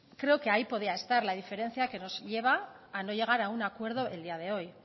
creo que ahí podría estar la diferencia que nos lleva a no llegar a un acuerdo el día de hoy